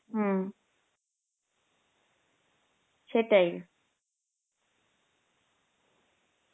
হম সেটাই